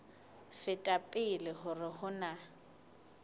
feta pele hore ho na